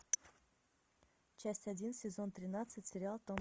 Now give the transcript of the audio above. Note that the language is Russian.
часть один сезон тринадцать сериал том